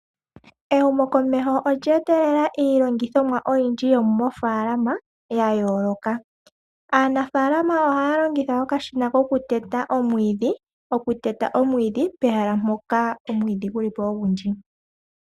Ehumokomeho olye etelela iilongithomwa oyindji yomoofaalama ya yooloka. Aanafaalama ohaya longitha okashina kokuteta omwiidhi, okuteta omwiidhi pehala mpoka omwiidhi guli po ogundji.